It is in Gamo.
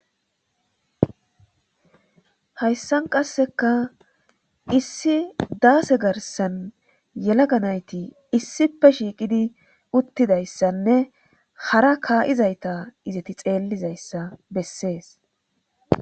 hayssan qasseka issi daase garsan yelaganayti issipe shiiqidi uttidayssanne hara kaa7izayta izati xeellizayssa bessees